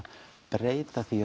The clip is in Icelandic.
breyta því